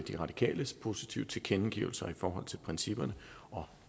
de radikales positive tilkendegivelser i forhold til principperne og